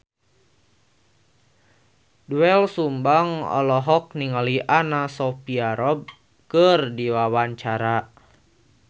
Doel Sumbang olohok ningali Anna Sophia Robb keur diwawancara